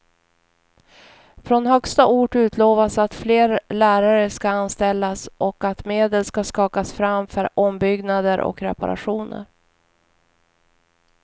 Från högsta ort utlovas att fler lärare ska anställas och att medel ska skakas fram för ombyggnader och reparationer.